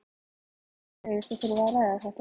Honum leiðist að þurfa að ræða þetta.